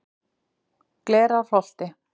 Glerárholti